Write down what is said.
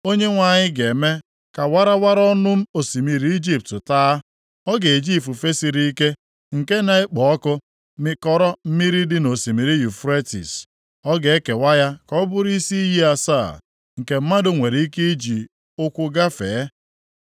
Onyenwe anyị ga-eme ka warawara ọnụ osimiri Ijipt taa. Ọ ga-eji ifufe siri ike, nke na-ekpo ọkụ mikọrọ mmiri dị nʼosimiri Yufretis. Ọ ga-ekewa ya ka ọ bụrụ isi iyi asaa, nke mmadụ nwere ike iji ụkwụ gafee.